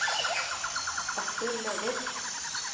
Arthur Løvik